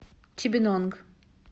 чибинонг